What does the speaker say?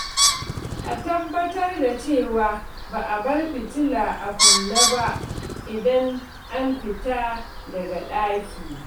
A tabbatar da cewa ba a bar fitila a kunne ba idan an fita daga ɗaki.